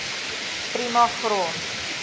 prima grond